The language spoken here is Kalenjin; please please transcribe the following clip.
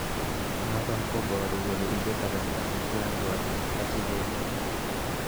Noton koboru kole ibe kasarta netian gorik asikemeny.